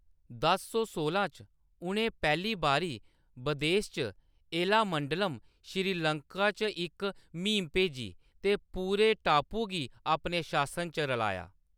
दस सौ सोलां च, उʼनें पैह्‌ली बारी बदेस च एलामंडलम, श्रीलंका च इक म्हीम भेजी ते पूरे टापू गी अपने शासन च रलाया।